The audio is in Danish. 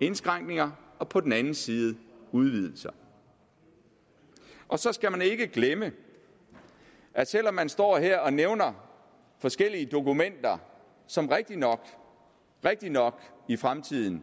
indskrænkninger og på den anden side udvidelser og så skal man ikke glemme at selv om man står her og nævner forskellige dokumenter som rigtig nok i fremtiden